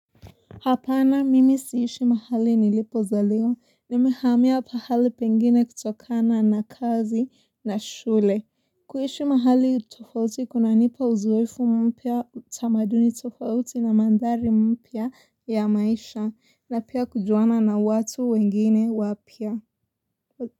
Hapana mimi siishi mahali nilipozaliwa nimehamia pahali pengine kutokana na kazi na shule. Kuishi mahali tofauti kunanipa uzoefu mpya tamaduni tofauti na mandhari mpya ya maisha na pia kujuwana na watu wengine wapya.